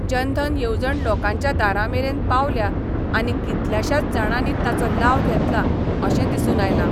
जनधन येवजण लोकांच्या दारांमेरेन पावल्या आनी कितल्याश्याच जाणांनी ताचो लाव घेतला अशें दिसून आयलां.